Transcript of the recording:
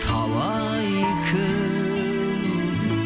талай кім